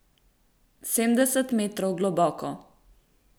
Sedemdeset metrov globoko.